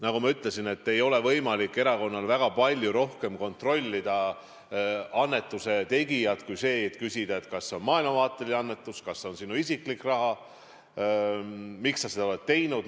Nagu ma ütlesin, erakonnal ei ole võimalik väga palju rohkem kontrollida annetuse tegijalt kui seda, kas see on maailmavaateline annetus, kas see on isiklik raha või miks seda on antud.